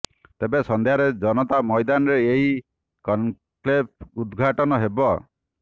ତେବେ ସଂଧ୍ୟାରେ ଜନତା ମଇଦାନରେ ଏହି କନକ୍ଲେଭ ଉଦଘାଟନ ହେବ